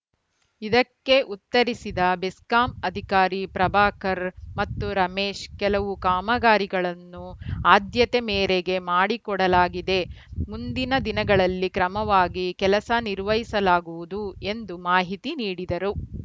ಇದಕ್ಕೆ ಉತ್ತರಿಸಿದ ಬೆಸ್ಕಾಂ ಅಧಿಕಾರಿ ಪ್ರಭಾಕರ್‌ ಮತ್ತು ರಮೇಶ್‌ ಕೆಲವು ಕಾಮಗಾರಿಗಳನ್ನು ಆದ್ಯತೆ ಮೇರೆಗೆ ಮಾಡಿಕೊಡಲಾಗಿದೆ ಮುಂದಿನ ದಿನಗಳಲ್ಲಿ ಕ್ರಮವಾಗಿ ಕೆಲಸ ನಿರ್ವಹಿಸಲಾಗುವುದು ಎಂದು ಮಾಹಿತಿ ನೀಡಿದರು